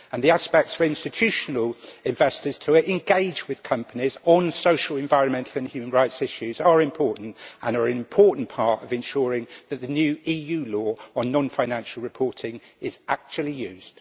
The aspects for institutional investors to engage with companies on social, environmental and human rights issues are important and are an important part of ensuring that the new EU law on non financial reporting is actually used.